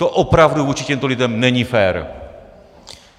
To opravdu vůči těmto lidem není fér.